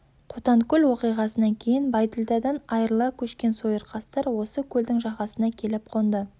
қотанкөл оқиғасынан кейін байділдәдан айырыла көшкен сойырқастар осы көлдің жағасына келіп қонды